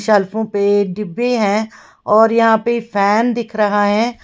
शेल्फों पे डिब्बे हैं और यहां पे फैन दिख रहा है।